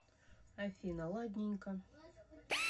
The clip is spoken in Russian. афина ладненько